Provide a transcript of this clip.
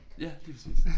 Ja lige præcis